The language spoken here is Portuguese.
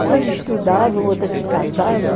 Umas estudavam, outras se casavam.